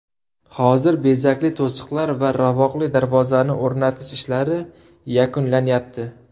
Hozir bezakli to‘siqlar va ravoqli darvozani o‘rnatish ishlari yakunlanyapti.